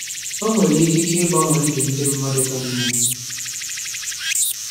O nwere ikike ịgbanwe ndụ ndị mmadụ ka mma.